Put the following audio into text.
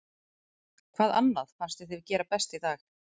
Hvað annað fannst þér þið gera best í dag?